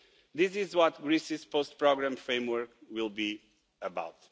This is what Greece's post-programme framework will be about.